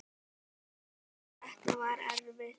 Og þetta var erfitt.